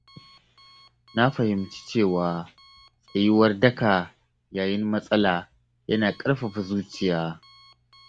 Na fahimci cewa tsayuwar daka yayin matsala yana ƙarfafa zuciya.